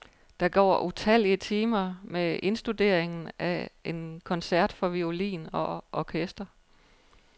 Der går utallige timer med indstuderingen af en koncert for violin og orkester.